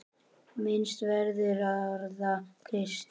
Minnst verður orða Krists.